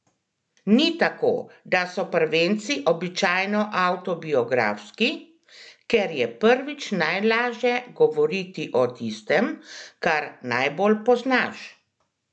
Ni tako, da so prvenci običajno avtobiografski, ker je prvič najlaže govoriti o tistem, kar najbolj poznaš?